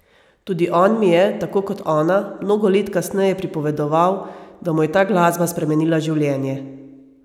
Tudi on mi je, tako kot ona, mnogo let kasneje pripovedoval, da mu je ta glasba spremenila življenje.